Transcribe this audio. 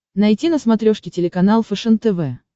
найти на смотрешке телеканал фэшен тв